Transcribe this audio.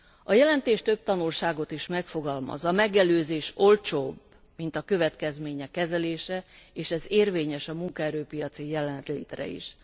A jelentés több tanulságot is megfogalmaz a megelőzés olcsóbb, mint a következmények kezelése és ez érvényes a munkaerő piaci jelenlétre is.